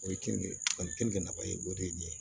O ye kenige ani keninke nafa ye o de ye nin ye